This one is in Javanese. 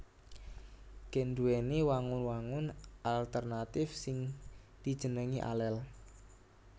Gen nduwèni wangun wangun alternatif sing dijenengi alel